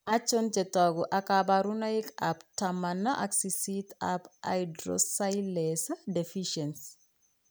Achon chetogu ak kaborunoik ab taman ak sisit ab hydroxylase deficiency